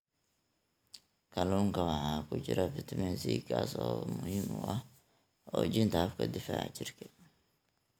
Kalluunka waxaa ku jira fitamiin C, kaas oo muhiim u ah xoojinta habka difaaca jirka.